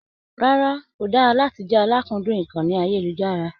Rárá, ko dára láti jẹ àlàkúndun ìkànnì ayelujara.